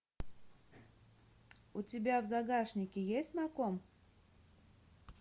у тебя в загашнике есть на ком